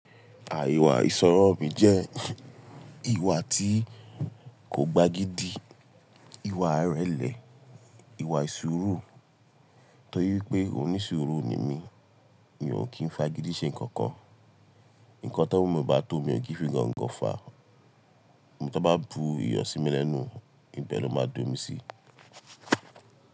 Àìwà ìṣọ̀rọ̀ mi jẹ́ ìwà tí kò gba gidi, ìwà ìrẹ̀lẹ̀, ìwà ìṣòro torí wípé oníṣuru ni mí, mi ò kí ń fá gidi ṣe nǹkan kan. Ǹkan tí owo mi o baá tó mi ò kí n fi gongo fa, tí wọ́n bá bu iyọ̀ sí mi lẹ́nu, ibẹ̀ lọ máa do mi sí.